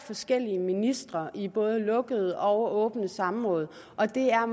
forskellige ministre i både lukkede og åbne samråd og det er